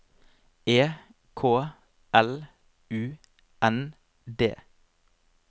E K L U N D